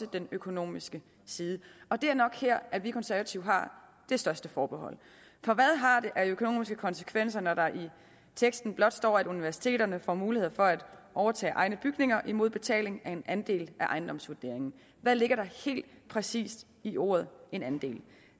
den økonomiske side og det er nok her at vi konservative har det største forbehold for hvad har det af økonomiske konsekvenser når der i teksten blot står at universiteterne får mulighed for at overtage egne bygninger imod betaling af en andel af ejendomsvurderingen hvad ligger der helt præcist i ordet en andel